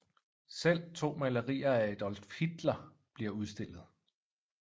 Selv to malerier af Adolf Hitler bliver udstillet